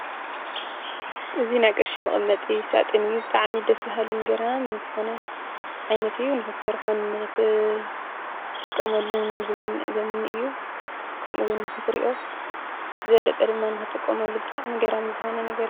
እዚ ናይ ቅርሺ መቀመጢ ሳጡን እዩ ብጣዕሚ ደስ በሃሊ ገራምን ዝኮነ ዓይነት እዩ ንክትሰርሖ እንጥቀመሉን ዘምኒ እዩ ከምኡ ውን ንክትሪኦ ዝበለፀ ድማ ንክትጥቀመሉ ገራሚ ዝኮነ ነገር እዩ